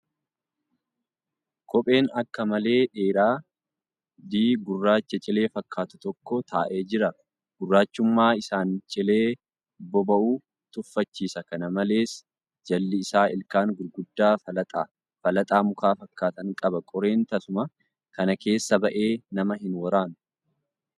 Kopheen akka malee dheeraa di gurraacha cilee fakkaatu tokko taa'ee jira. Gurraachummaa isaan cilee boba'u tuffachiisa. Kana malees, jalli isaa ilkaan gurguddaa falaxaa mukaa fakkaatan qaba. Qoreen tasuma kana keessa ba'ee nama hin waraanu.